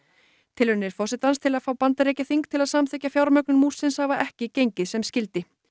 tilraunir forsetans til að fá Bandaríkjaþing til að samþykkja fjármögnun múrsins hafa ekki gengið sem skyldi